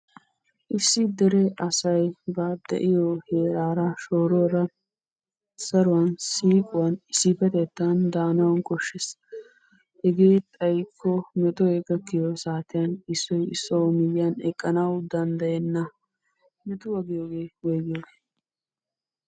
Issi dere asay ba de'iyo heeraara shooruwara saruwan siiquwan issippetettan daanawu koshshes. Hegee xayikko metoy gakkiyo saatiyan issoy issuwawu miyyiyan eqqanawu danddayenna. Metuwa giyoogee woyigiyoogee?